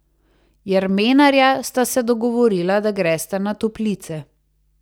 Jermenarja sta se dogovorila, da gresta na Toplice.